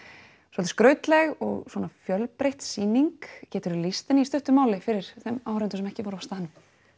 svolítið skrautleg og fjölbreytt sýning geturðu lýst henni í stuttu máli fyrir þeim áhorfendum sem ekki voru á staðnum